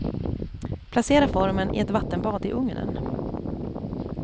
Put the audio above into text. Placera formen i ett vattenbad i ugnen.